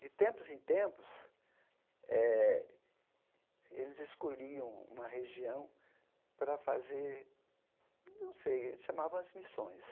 De tempos em tempos, eh eles escolhiam uma região para fazer, não sei, eles chamavam as missões.